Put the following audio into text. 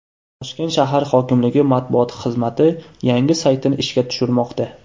Toshkent shahar hokimligi Matbuot xizmati yangi saytini ishga tushirmoqda.